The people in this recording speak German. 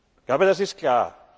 Ich glaube, das ist klar.